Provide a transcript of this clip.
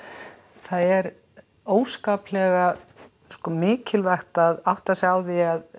það er óskaplega sko mikilvægt að átta sig á því að